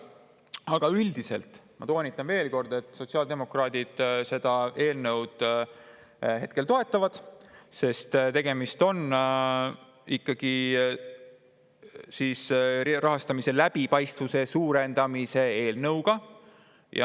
Aga üldiselt, ma veel kord toonitan: sotsiaaldemokraadid seda eelnõu hetkel toetavad, sest tegemist on ikkagi rahastamise läbipaistvuse suurendamise eelnõuga.